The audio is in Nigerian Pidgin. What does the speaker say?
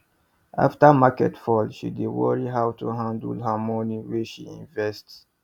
after market fall she dey worry how to handle her money wey she invest